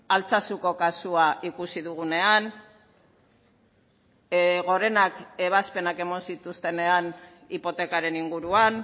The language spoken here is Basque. altsasuko kasua ikusi dugunean gorenak ebazpenak eman zituztenean hipotekaren inguruan